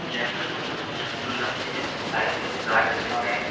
জায়গাটা খুব দেখতে সুন্দর লাগছে সাইড -এ গাছ আছে অনকে ।